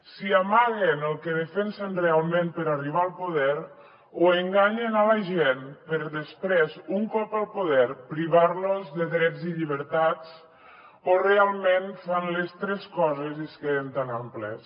si amaguen el que defensen realment per arribar al poder o enganyen la gent per després un cop al poder privar los de drets i llibertats o realment fan les tres coses i es queden tan amples